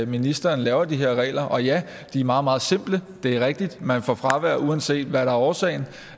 ministeren laver de her regler og ja de er meget meget simple det er rigtigt man får fravær uanset hvad der er årsag